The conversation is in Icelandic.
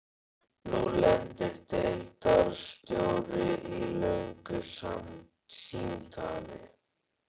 Nú lendir deildarstjóri í löngu símtali.